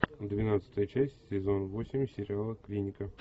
двенадцатая часть сезон восемь сериала клиника